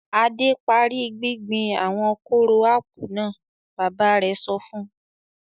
"Adé parí gbíngbin àwọn kóró ápù náà!" Bàbá rẹ̀ sọ fún un.